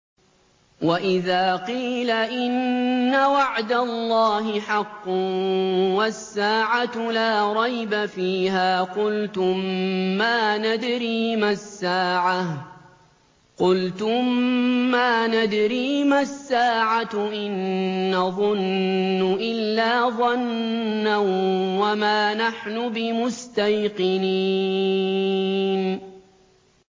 وَإِذَا قِيلَ إِنَّ وَعْدَ اللَّهِ حَقٌّ وَالسَّاعَةُ لَا رَيْبَ فِيهَا قُلْتُم مَّا نَدْرِي مَا السَّاعَةُ إِن نَّظُنُّ إِلَّا ظَنًّا وَمَا نَحْنُ بِمُسْتَيْقِنِينَ